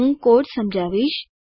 હું કોડ સમજાવીશ